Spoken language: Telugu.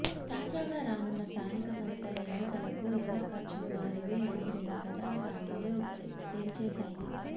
తాజాగా రానున్న స్థానిక సంస్థల ఎన్నికలకు ఎవరి ఖర్చులు వారివే అని రెండు ప్రధాన పార్టీలు తేల్చేశాయి